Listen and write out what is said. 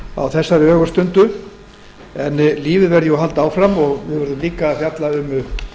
á þessari ögurstundu en lífið verður að halda áfram og við verðum líka að fjalla um